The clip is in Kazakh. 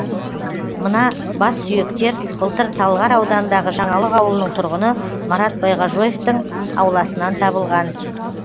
мына бассүйектер былтыр талғар ауданындағы жаңалық ауылының тұрғыны марат байғажоевтың ауласынан табылған